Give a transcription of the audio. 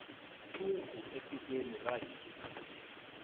nsuku etikweni ra hina